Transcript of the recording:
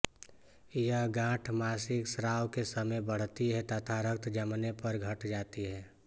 यह गाँठ मासिक स्राव के समय बढ़ती है तथा रक्त जमने पर घट जाती है